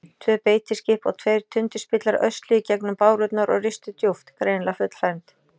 Tvö beitiskip og tveir tundurspillar ösluðu í gegnum bárurnar og ristu djúpt, greinilega fullfermd.